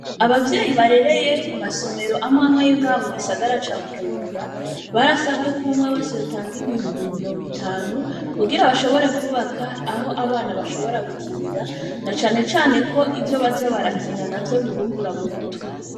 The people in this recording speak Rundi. Abavyeyi barereye ku masomero amwamweyonga mu gisagara ca bujumbura barasabweko umwe wese batanga ibihumbi mu mirongo itanu kugira bashobore kubaka aho abana bashobora gukinira na canecane ko ivyo baza barakina na vyo bibungura mu mutwe.